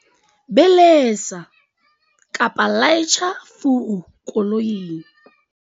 belesa-laitjha furu koloing